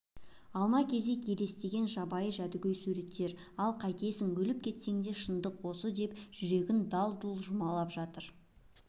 алма-кезек елестеген жабайы жәдігөй суреттер ал қайтесің өліп кетсең де шындық осы деп жүрегін дал-дұл жұлмалап жатыр